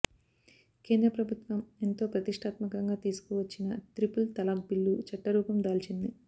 కేంద్ర ప్రభుత్వం ఎంతో ప్రతిష్టాత్మకంగా తీసుకువచ్చిన త్రిపుల్ తలాక్ బిల్లు చట్టరూపం దాల్చింది